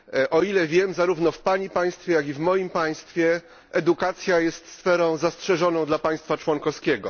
O ile wiem, zarówno w Pani państwie, jak i w moim państwie edukacja jest sferą zastrzeżoną dla państwa członkowskiego.